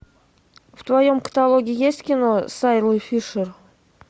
в твоем каталоге есть кино с айлой фишер